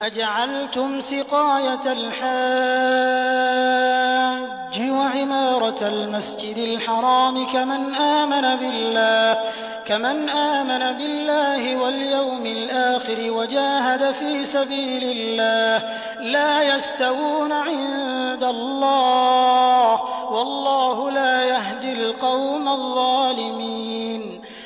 ۞ أَجَعَلْتُمْ سِقَايَةَ الْحَاجِّ وَعِمَارَةَ الْمَسْجِدِ الْحَرَامِ كَمَنْ آمَنَ بِاللَّهِ وَالْيَوْمِ الْآخِرِ وَجَاهَدَ فِي سَبِيلِ اللَّهِ ۚ لَا يَسْتَوُونَ عِندَ اللَّهِ ۗ وَاللَّهُ لَا يَهْدِي الْقَوْمَ الظَّالِمِينَ